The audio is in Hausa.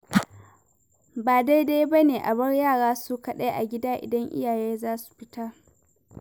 Ba daidai bane a bar yara su kaɗai agida, idan iyaye za su fita.